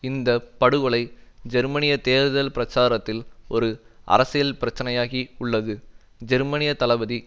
இந்த படுகொலை ஜெர்மனிய தேர்தல் பிரச்சாரத்தில் ஒரு அரசியல் பிரச்சினையாகி உள்ளது ஜெர்மனிய தளபதி